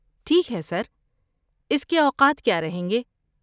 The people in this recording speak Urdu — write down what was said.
ٹھیک ہے سر، اس کے اوقات کیا رہیں گے؟